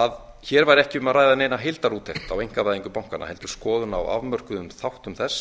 að hér væri ekki um að ræða eina heildarúttekt á einkavæðingu bankanna heldur skoðun á afmörkuðum þáttum þess